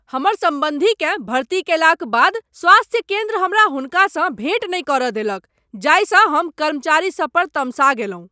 हमर सम्बन्धीकेँ भर्ती कएलाक बाद स्वास्थ्य केन्द्र हमरा हुनकासँ भेँट नहि करय देलक जाहिसँ हम कर्मचारी सब पर तमसा गेलहुँ।